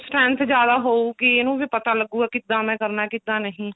strength ਜਿਆਦਾ ਹੋਊਗੀ ਇਹਨੂੰ ਵੀ ਪਤਾ ਲੱਗੂਗਾ ਕਿੱਦਾਂ ਮੈਂ ਕਰਨਾ ਕਿੱਦਾਂ ਨਹੀਂ